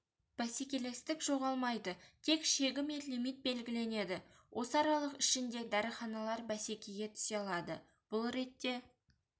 бәсекелестік жоғалмайды тек шегі мен лимит белгіленеді осы аралық ішгінде дәріханалар бәсекеге түсе алады бұл ретте